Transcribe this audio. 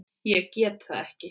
Ég get það ekki